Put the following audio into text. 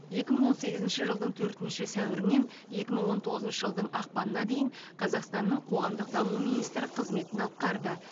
екі мың он сегізінші жылы төртінші сәуірінен екі мың он тоғызыншы жылдың ақпанына дейін қазақстанның қоғамдық даму министрі қызметін атқарды